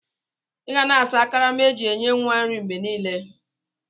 Iga na asa akarama eji enye nwa nri mgbe nile.!!